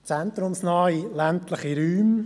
Was sind zentrumsnahe ländliche Räume?